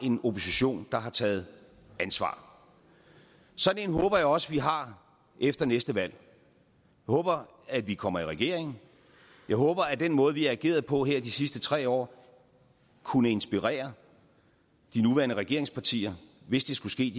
en opposition der har taget ansvar sådan en håber jeg også vi har efter næste valg jeg håber at vi kommer i regering jeg håber at den måde vi har ageret på her de sidste tre år kunne inspirere de nuværende regeringspartier hvis det skulle ske